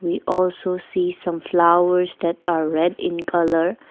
we also see some flowers that are red in colour.